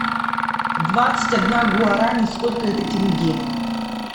двадцать одна гуарани сколько это тенге